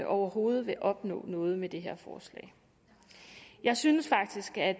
overhovedet vil opnå noget med det her forslag jeg synes faktisk at